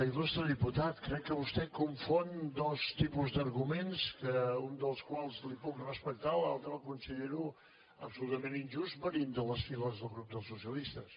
il·lustre diputat crec que vostè confon dos tipus d’arguments que un dels quals li puc respectar l’altre el considero absolutament injust venint de les files del grup dels socialistes